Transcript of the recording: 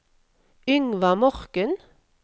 Yngvar Morken